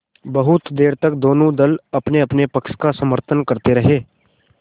बहुत देर तक दोनों दल अपनेअपने पक्ष का समर्थन करते रहे